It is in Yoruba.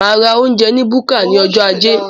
Máa ra oúnjẹ ní búkà ní ọjọ ajé